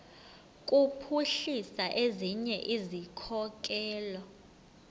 kuphuhlisa ezinye izikhokelo